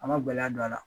A ma gɛlɛya don a la